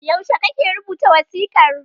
Yaushe kake rubuta wasiƙar?